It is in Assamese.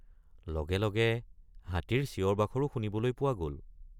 লগে লগে হাতীৰ চিঞৰবাখৰো শুনিবলৈ পোৱা গল।